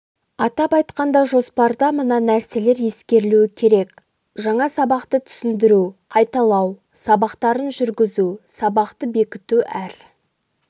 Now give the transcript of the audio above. атап айтқанда жоспарда мына нәрселер ескерілуі керек жаңа сабақты түсіндіру қайталау сабақтарын жүргізу сабақты бекіту әр